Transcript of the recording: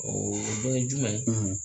o dɔ ye jumɛn ye?